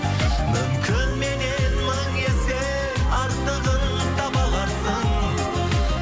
мүмкін меннен мың есе артығын таба аларсың